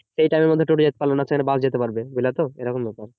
সে time এর মধ্যে টোটো যেতে পারলো না সেইখানে বাস যেতে পারবে বুঝলে তো এরকম ব্যাপার